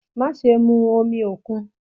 Maṣe mu omi okun!